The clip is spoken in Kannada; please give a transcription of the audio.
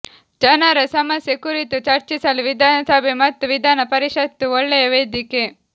ಜನರ ಸಮಸ್ಯೆ ಕುರಿತು ಚರ್ಚಿಸಲು ವಿಧಾನಸಭೆ ಮತ್ತು ವಿಧಾನ ಪರಿಷತ್ತು ಒಳ್ಳೆಯ ವೇದಿಕೆ